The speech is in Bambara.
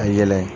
A yɛlɛ